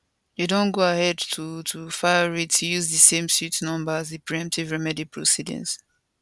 dey don go ahead to to file writ use di same suit number as di preemptive remedy proceedings